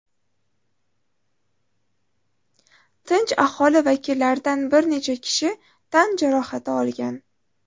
Tinch aholi vakillaridan bir necha kishi tan jarohati olgan.